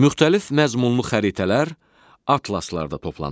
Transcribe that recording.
Müxtəlif məzmunlu xəritələr atlaslarda toplanır.